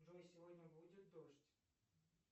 джой сегодня будет дождь